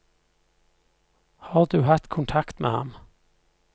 Har du hatt kontakt med ham?